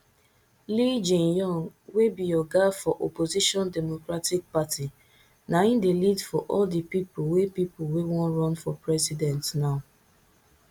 lee jaemyung wey be oga for opposition democratic party na im dey lead for all di people wey people wey wan run for president now